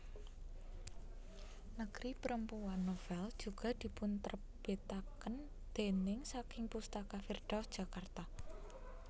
Negeri Perempuan novel juga dipunterbitaken déning saking Pustaka Firdaus Jakarta